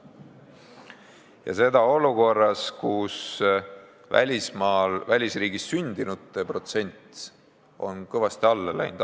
Ja seda olukorras, kus välisriigis sündinute protsent on kõvasti kahanenud.